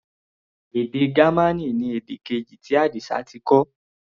Èdè Gamaní ni èdè keji tí Adisa ti kọ́.